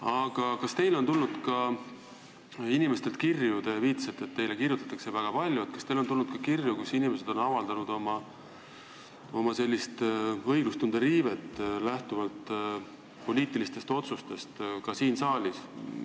Aga kas teile on tulnud ka inimestelt kirju – te viitasite, et teile kirjutatakse väga palju –, kus inimesed on kurtnud õiglustunde riivet lähtuvalt poliitilistest otsustest siin saalis?